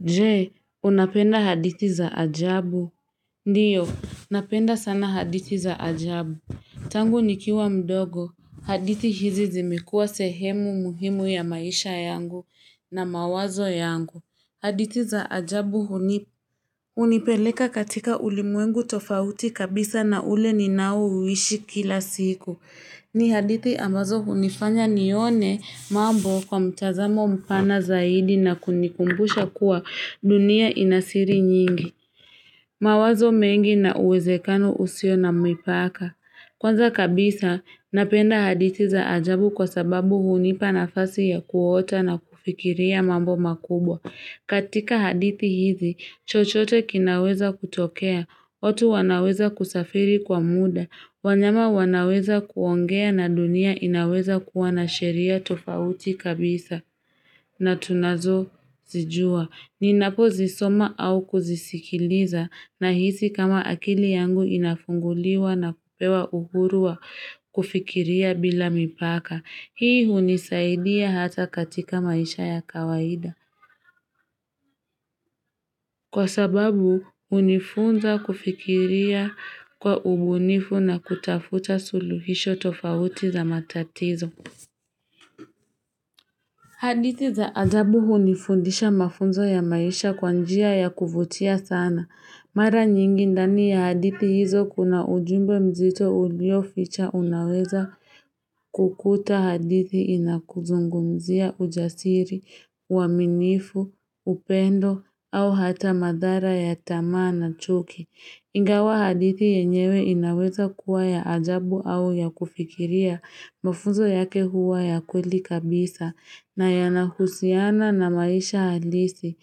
Je, unapenda hadithi za ajabu? Ndiyo, napenda sana hadithi za ajabu. Tangu nikiwa mdogo, haditi hizi zimekuwa sehemu muhimu ya maisha yangu na mawazo yangu. Hadithi za ajabu hunipeleka katika ulimwengu tofauti kabisa na ule ninaouishi kila siku. Ni hadithi ambazo hunifanya nione mambo kwa mtazamo mpana zaidi na kunikumbusha kuwa dunia inasiri nyingi. Mawazo mengi na uwezekano usio na mipaka. Kwanza kabisa, napenda hadithi za ajabu kwa sababu hunipa nafasi ya kuota na kufikiria mambo makubwa. Katika hadithi hizi, chochote kinaweza kutokea, watu wanaweza kusafiri kwa muda, wanyama wanaweza kuongea na dunia inaweza kuwa na sheria tofauti kabisa na tunazozijua. Ninapozisoma au kuzisikiliza na hisi kama akili yangu inafunguliwa na kupewa uhuru wa kufikiria bila mipaka. Hii hunisaidia hata katika maisha ya kawaida. Kwa sababu hunifunza kufikiria kwa ubunifu na kutafuta suluhisho tofauti za matatizo. Hadithi za ajabu hunifundisha mafunzo ya maisha kwa njia ya kuvutia sana. Mara nyingi ndani ya hadithi hizo kuna ujumbe mzito ulioficha unaweza kukuta hadithi inakuzungumzia ujasiri, uaminifu, upendo au hata madhara ya tamaa na chuki. Ingawa hadithi yenyewe inaweza kuwa ya ajabu au ya kufikiria, mafunzo yake huwa ya kweli kabisa na yanahusiana na maisha halisi.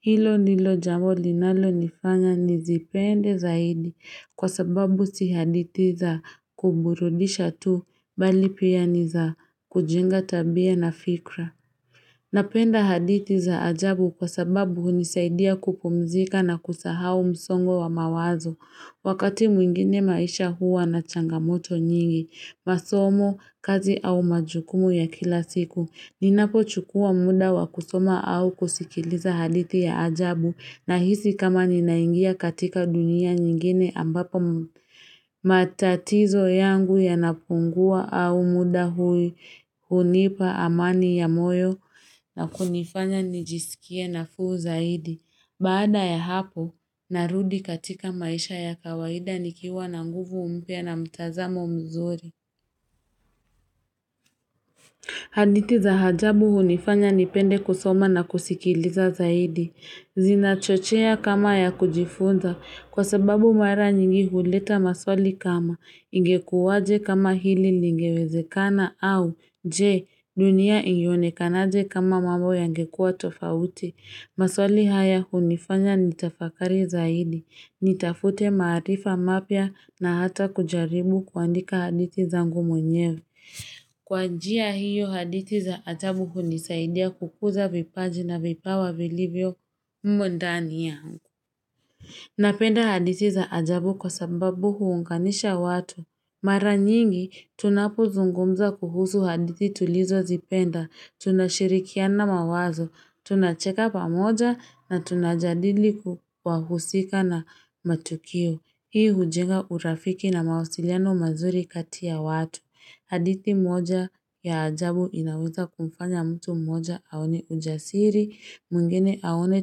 Hilo ndilo jambo linalonifanya nizipende zaidi kwa sababu si hadithi za kuburudisha tu bali pia niza kujenga tabia na fikra. Napenda haditi za ajabu kwa sababu hunisaidia kupumzika na kusahao msongo wa mawazo wakati mwingine maisha huwa na changamoto nyingi, masomo, kazi au majukumu ya kila siku. Ninapochukua muda wa kusoma au kusikiliza hadithi ya ajabu nahisi kama ninaingia katika dunia nyingine ambapo matatizo yangu yanapungua au muda hunipa amani ya moyo na kunifanya nijisikia nafuu zaidi. Baada ya hapo, narudi katika maisha ya kawaida nikiwa na nguvu mpya na mtazamo mzuri. Hadithi za ajabu hunifanya nipende kusoma na kusikiliza zaidi. Zinachochea kama ya kujifunza kwa sababu mara nyingi huleta maswali kama, ingekuwaje kama hili ningewezekana? Au je, dunia ingionekanaje kama mambo yangekuwa tofauti? Maswali haya hunifanya nitafakari zaidi. Nitafute marifaa mapya na hata kujaribu kuandika haditi zangu mwenyewe Kwa njia hiyo hadithi za ajabu hunisaidia kukuza vipaji na vipawa vilivyo mumo ndani yangu. Napenda hadithi za ajabu kwa sababu huunganisha watu. Mara nyingi, tunapozungumza kuhusu hadithi tulizozipenda tunashirikiana mawazo, tunacheka pamoja na tunajadili wahusika na matukio. Hii hujenga urafiki na mawasiliano mazuri kati ya watu. Hadithi moja ya ajabu inaweza kumfanya mtu mmoja aone ujasiri, mwingine aone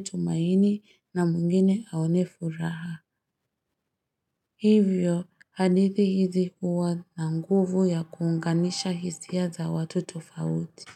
tumaini, na mwingine aone furaha. Hivyo, hadithi hizi huwa na nguvu ya kuunganisha hisia za watu tofauti.